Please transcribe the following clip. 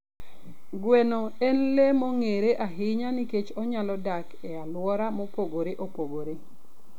Gweno en le mong'ere ahinya nikech onyalo dak e alwora mopogore opogore.